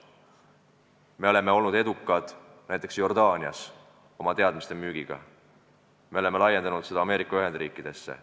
Me oleme olnud edukad näiteks Jordaanias oma teadmiste müügiga, me oleme laiendanud seda Ameerika Ühendriikidesse.